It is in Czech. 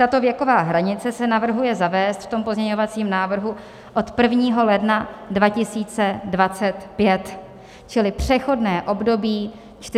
Tato věková hranice se navrhuje zavést v pozměňovacím návrhu od 1. ledna 2025, čili přechodné období 4,5 roku.